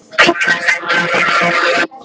ef illa stendur á fyrir þér.